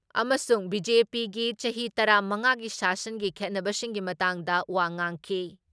ꯑꯃꯁꯨꯡ ꯕꯤ.ꯖꯦ.ꯄꯤꯒꯤ ꯆꯍꯤ ꯇꯔꯥ ꯃꯉꯥꯒꯤ ꯁꯥꯁꯟꯒꯤ ꯈꯦꯠꯅꯕꯁꯤꯡꯒꯤ ꯃꯇꯥꯡꯗ ꯋꯥ ꯉꯥꯡꯈꯤ ꯫